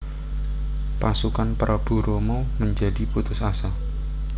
Pasukan Prabu Rama menjadi putus asa